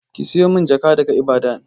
Ki siyo min jaka daga Ibadan!